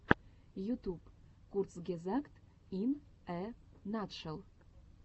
ютуб курцгезагт ин э натшел